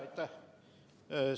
Aitäh!